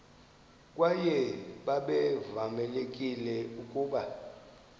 kwaye babevamelekile ukuba